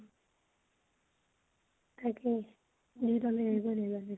তাকেই